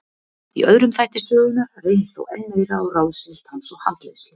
Í öðrum þætti sögunnar reynir þó enn meir á ráðsnilld hans og handleiðslu.